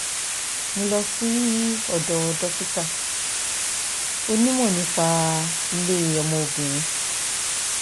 mo lọ sí ọ̀dọ̀ dókítà onímọ̀ nípa ilé ọmọ obìnrin